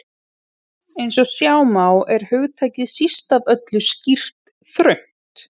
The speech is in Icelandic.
Eins og sjá má er hugtakið síst af öllu skýrt þröngt.